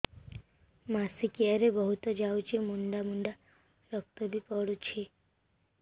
ମାସିକିଆ ରେ ବହୁତ ଯାଉଛି ମୁଣ୍ଡା ମୁଣ୍ଡା ରକ୍ତ ବି ପଡୁଛି